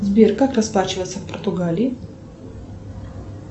сбер как расплачиваться в португалии